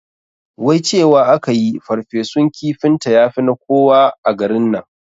Wai cewa akayi ferfesun kifinta yafi na koya a garin nan